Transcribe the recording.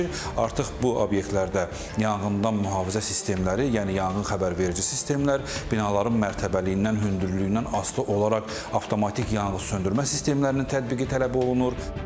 Artıq bu obyektlərdə yanğından mühafizə sistemləri, yəni yanğın xəbərverici sistemlər, binaların mərtəbəliyindən, hündürlüyündən asılı olaraq avtomatik yanğın söndürmə sistemlərinin tətbiqi tələb olunur.